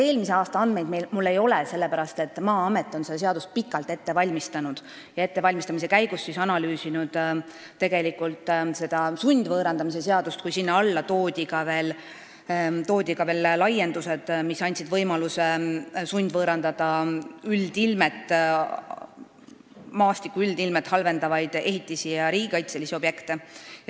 Eelmise aasta täpseid andmeid mul ei ole, sest Maa-amet on seda seadust pikalt ette valmistanud ja ettevalmistamise käigus analüüsinud seda sundvõõrandamise seadust, kui sinna tehti laiendused, mis andsid võimaluse sundvõõrandada maastiku üldilmet halvendavaid ehitisi ja riigikaitselisi objekte.